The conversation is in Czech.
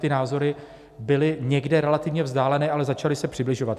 Ty názory byly někde relativně vzdálené, ale začaly se přibližovat.